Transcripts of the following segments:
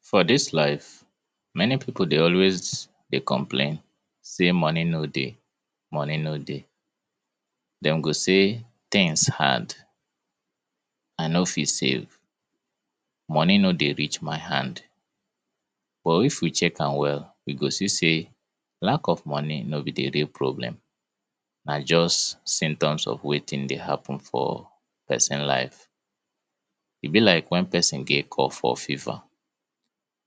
For dis life, many pipo de always complain say money no de, money no de dem go say tins hard, I no fit save, money no de reach My hand. But if we check am well, we go see say, lack of money no be de real problem symptoms of wetin de happen for pesin life E be like wen pesin get cough or fever.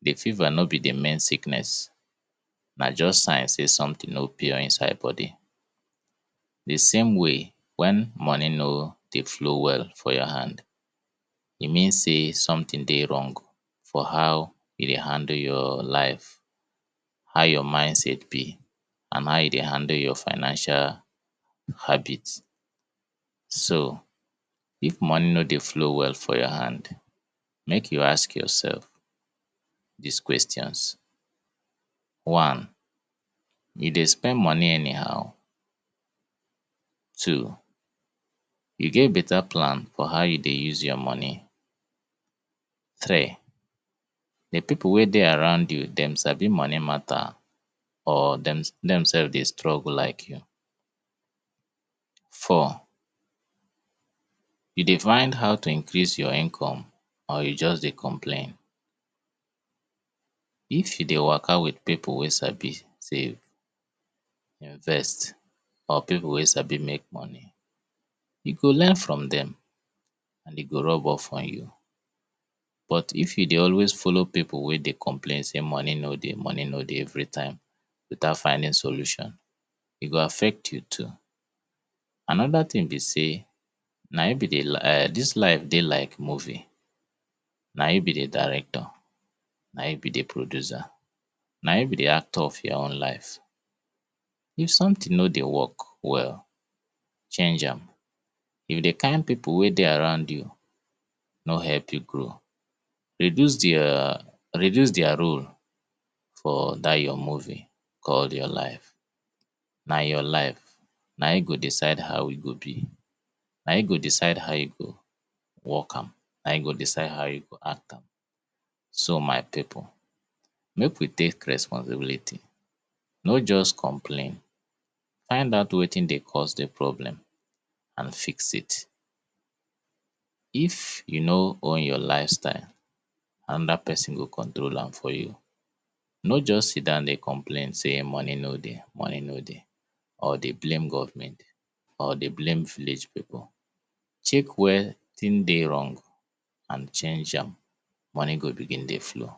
De fever no be de main sickness, na just sign say something no pure inside body. The same way, wen money no de flow well for ur hand, e mean say something de wrong for how you de handle ur life, how ur mindset be and how I de handle ur financial habit. So, if money no de flow well for ur hand, mek u ask ur self dis question. One, you de spend money anyhow? Two, you get better plan on how you de use your money? Three, de pipo weh de around you, dem sabi money matter or dem dev de struggle like you? Four, u de find how to Increase your income or you just de complain? If u de waka with pipo weh sabi save or invest or pipo weh sabi make money, you go learn from dem and e go work well for you But if you de always follow pipo weh de complain say money no de money no de every time, e go affect you too Anoda tin be say, dis life de like movie. Na you be Director. Na u be de producer na u be de actor of your own life. If something no de work well, change am. If de kind pipo weh de around u no help you grow, reduce their role for that your movie called your life. Na your life, na u go decide how e go be, na you go decide how you go work am, na you go decide how you go act am. So my pipo, mek we take responsibility. No just complain, find out wetin de cause de problem and fix it If you no own your lifestyle, anoda pesin go control am for you. No just Sidon say money no de money no de or de blame government or de blame village pipo. Check wetin de wrong and change am, money go begin de flow.